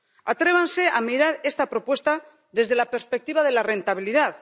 Atrévanse a mirar esta propuesta desde la perspectiva de la rentabilidad.